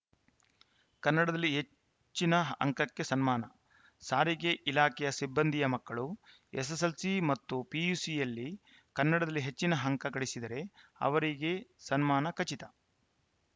ಕನ್ನಡದಲ್ಲಿ ಹೆಚ್ಚಿನ ಅಂಕಕ್ಕೆ ಸನ್ಮಾನ ಸಾರಿಗೆ ಇಲಾಖೆಯ ಸಿಬ್ಬಂದಿಯ ಮಕ್ಕಳು ಎಸ್ಸೆಸ್ಸೆಲ್ಸಿ ಮತ್ತು ಪಿಯುಸಿಯಲ್ಲಿ ಕನ್ನಡದಲ್ಲಿ ಹೆಚ್ಚಿನ ಅಂಕ ಗಳಿಸಿದರೆ ಅವರಿಗೆ ಸನ್ಮಾನ ಖಚಿತ